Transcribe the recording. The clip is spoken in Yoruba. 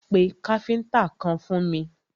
Pé káfíntà kan fún mi!